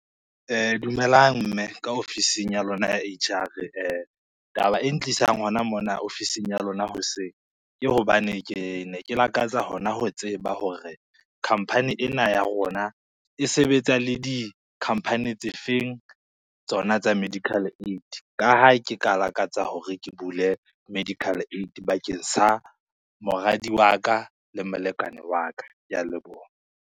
Dumelang mme ka ofising ya lona ya H_R, taba e ntlisang hona mona ofising ya lona hoseng, ke hobane ke ne ke lakatsa hona ho tseba hore company ena ya rona e sebetsa le di-company tse feng tsona tsa medical aid. Ka ha ke ka lakatsa hore ke bule medical aid bakeng sa moradi wa ka le molekane wa ka, ke a leboha.